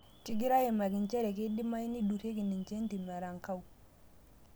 Kegirae aimaki njere keidimayu neiduraki ninye entim erankau